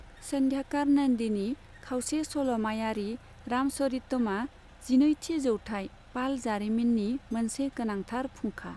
सन्ध्याकार नन्दीनि खावसे सल'मायारि रामचरितमा जिनैथि जौथाइ पाल जारिमिननि मोनसे गोनांथार फुंखा।